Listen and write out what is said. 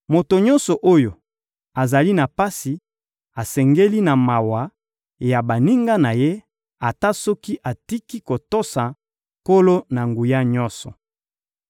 Moto nyonso oyo azali na pasi asengeli na mawa ya baninga na ye, ata soki atiki kotosa Nkolo-Na-Nguya-Nyonso.